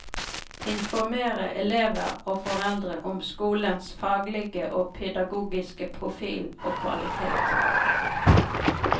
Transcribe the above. Informere elever og foreldre om skolens faglige og pedagogiske profil og kvalitet.